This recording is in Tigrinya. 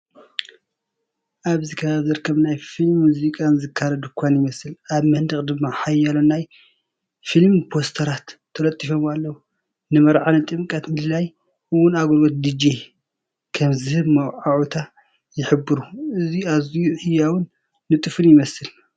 ኣብቲ ከባቢ ዝርከብ ናይ ፊልምን ሙዚቃን ዝካረ ድኳን ይመስል፡ ኣብ መንደቕ ድማ ሓያሎ ናይ ፊልም ፖስተራት ተለጢፎም ኣለዉ። ንመርዓ፣ ጥምቀትን ምልላይን እውን ኣገልግሎት ዲጄ ከም ዝህብ መወዓውዒታት ይሕብሩ። እዚ ኣዝዩ ህያውን ንጡፍን ይመስል።